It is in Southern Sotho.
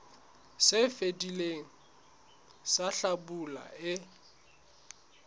se fetileng sa hlabula e